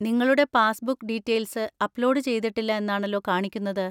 നിങ്ങളുടെ passbook details upload ചെയ്തിട്ടില്ല എന്നാണല്ലോ കാണിക്കുന്നത്.